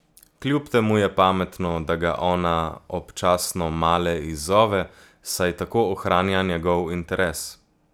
Kljub temu je pametno, da ga ona občasno male izzove, saj tako ohranja njegov interes.